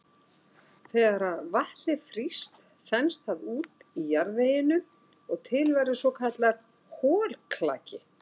þegar vatnið frýst þenst það út í jarðveginum og til verður svokallaður holklaki